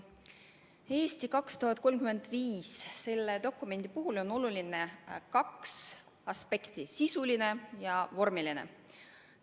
Dokumendi "Eesti 2035" puhul on olulised kaks aspekti: sisuline ja vormiline.